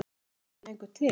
Er hann ekki lengur til?